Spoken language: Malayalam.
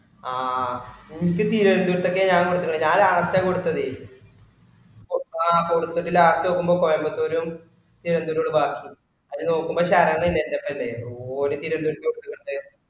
ആ ഇൻക് തിരോന്തരത്തേക് ഞാൻ കൊടുത്തകണ് ഞാ last അ കൊടുത്തതേ ആ കൊടുത്ക്ക് last നോക്കുമ്പോ കോയമ്പത്തൂർ തിരുവന്തോരം ബാക്കി ആയിൽ നോക്കുമ്പോ ശരൺ ഇല്ലേ എന്റപ്പല്ലെ ഓര് തിരുവന്തോരത്തേക് കൊടുത്തിട്ടുണ്ട്